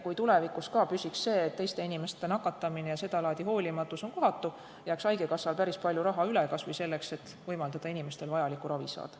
Kui tulevikus see püsiks, jääks haigekassal päris palju raha üle kas või selleks, et võimaldada inimestel vajalikku ravi saada.